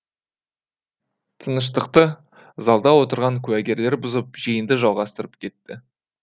тыныштықты залда отырған куәгерлер бұзып жиынды жалғастырып кетті